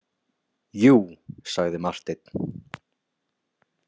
Jú, sagði Marteinn.